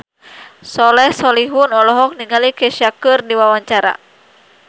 Soleh Solihun olohok ningali Kesha keur diwawancara